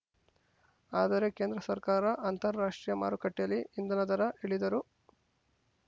ಆದರೆ ಕೇಂದ್ರ ಸರ್ಕಾರ ಅಂತಾರಾಷ್ಟ್ರೀಯ ಮಾರುಕಟ್ಟೆಯಲ್ಲಿ ಇಂಧನ ದರ ಇಳಿದರೂ